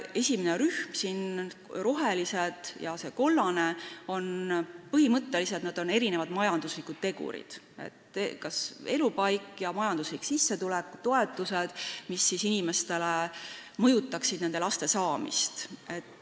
Esimene rühm: roheline ja kollane tähistavad põhimõtteliselt erinevaid majanduslikke tegureid, need on elupaik ja majanduslik toetus, mis mõjutavad laste saamist.